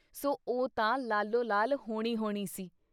ਸੋ ਉਹ ਤਾਂ ਲਾਲੋ ਲਾਲ ਹੋਣੀ ਹੋਣੀ ਸੀ।